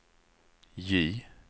J